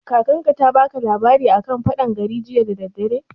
Kakar ka ta baka labari a kan faɗan gari jiya da daddare?